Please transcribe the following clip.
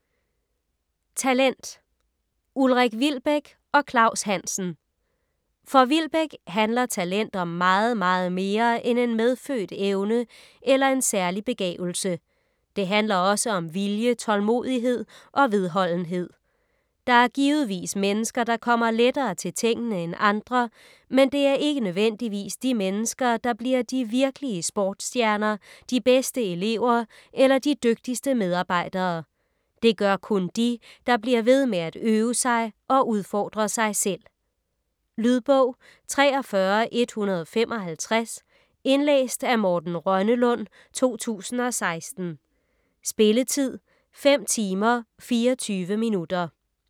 Talent Ulrik Wilbek og Claus Hansen For Wilbek handler talent om meget, meget mere end en medfødt evne eller en særlig begavelse. Det handler også om vilje, tålmodighed og vedholdenhed. Der er givetvis mennesker, der kommer lettere til tingene end andre, men det er ikke nødvendigvis de mennesker, der bliver de virkelige sportstjerner, de bedste elever eller de dygtigste medarbejdere. Det gør kun de, der bliver ved med at øve sig og udfordre sig selv. Lydbog 43155 Indlæst af Morten Rønnelund, 2016. Spilletid: 5 timer, 24 minutter.